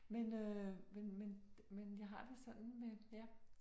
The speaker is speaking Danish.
Men øh men men men jeg har det sådan med ja